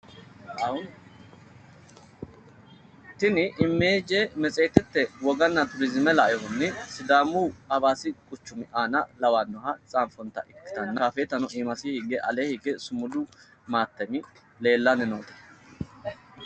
Tini misile maxaafate budenna turizime lainohunni Sidaamu hawaassi quchuma lawannoha boreessinoonnita ikkitanna Shaafeetanna Sumudu leellanni noota xawissanno.